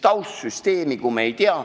Taustsüsteemi me ju ei tea.